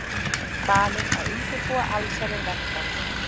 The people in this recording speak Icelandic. Falið að undirbúa allsherjarverkfall